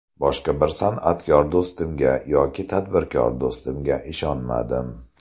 Boshqa bir san’atkor do‘stimga yoki tadbirkor do‘stimga ishonmadim.